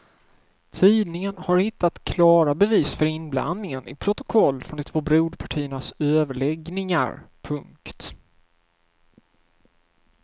Tidningen har hittat klara bevis för inblandningen i protokoll från de två broderpartiernas överläggningar. punkt